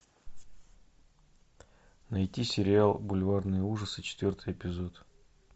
найти сериал бульварные ужасы четвертый эпизод